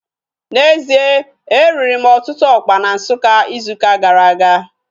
N'ezie, e riri m ọtụtụ ọkpa na Nsukka izu ụka gara aga